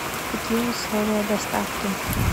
какие условия доставки